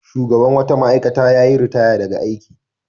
Shugaban wata ma'aikata ya yi ritaya daga aiki.